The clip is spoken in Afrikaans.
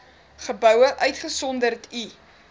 geboue uitgesonderd u